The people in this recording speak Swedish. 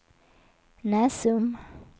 Näsum